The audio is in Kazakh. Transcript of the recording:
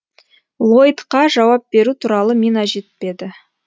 лойдқа жауап беру туралы мина жетпеді